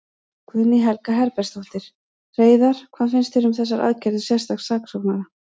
Guðný Helga Herbertsdóttir: Hreiðar, hvað finnst þér um þessar aðgerðir sérstaks saksóknara?